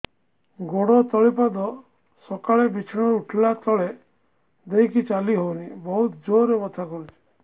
ଗୋଡ ତଳି ପାଦ ସକାଳେ ବିଛଣା ରୁ ଉଠିଲେ ତଳେ ଦେଇକି ଚାଲିହଉନି ବହୁତ ଜୋର ରେ ବଥା କରୁଛି